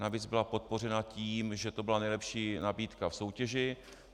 Navíc byla podpořena tím, že to byla nejlepší nabídka v soutěži.